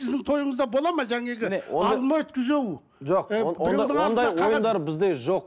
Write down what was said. сіздің тойыңызда болады ма алма өткізу жоқ ондай ойындар бізде жоқ